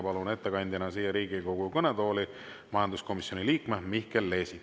Palun ettekandjaks Riigikogu kõnetooli majanduskomisjoni liikme Mihkel Leesi.